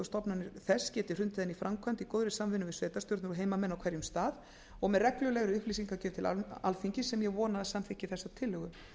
stofnanir þess geti hrundið henni í framkvæmd í góðri samvinnu við sveitarstjórnir og heimamenn á hverjum stað og með reglulegri upplýsingagjöf til alþingis sem ég vona að samþykki þessa tillögu